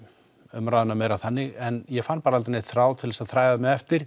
umræðuna meira þannig en ég fann bara aldrei neinn þráð til að þræða mig eftir